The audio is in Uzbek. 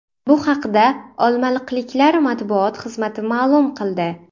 Bu haqda olmaliqliklar matbuot xizmati ma’lum qildi .